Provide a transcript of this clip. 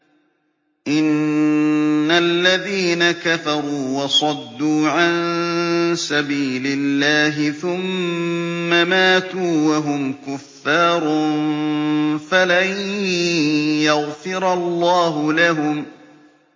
إِنَّ الَّذِينَ كَفَرُوا وَصَدُّوا عَن سَبِيلِ اللَّهِ ثُمَّ مَاتُوا وَهُمْ كُفَّارٌ فَلَن يَغْفِرَ اللَّهُ لَهُمْ